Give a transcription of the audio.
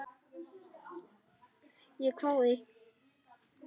Ég hváði.